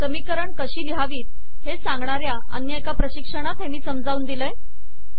समीकरणे कशी लिहावी हे सांगणाऱ्या अन्य एका प्रशिक्षणात हे मी समजावून दिलेले आहे